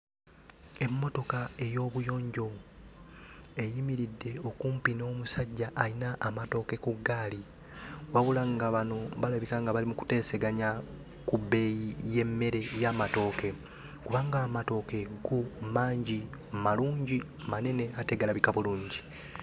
Emmotoka ey'obuyonjo eyimiridde okumpi n'omusajja ayina amatooke ku ggaali, wabula nga bano balabika nga bali mu kuteeseganya ku bbeeyi y'emmere y'amatooke kubanga amatooke go mangi, malungi, manene ate galabika bulungi.